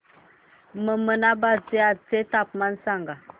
ममनाबाद चे आजचे तापमान सांग